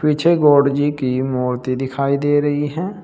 पीछे गॉड जी की मूर्ति दिखाई दे रही है।